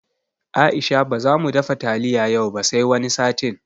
Aisha baza mu dafa taliya yau ba sai wani satin